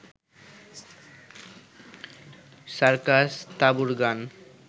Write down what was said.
সার্কাস-তাঁবুর গান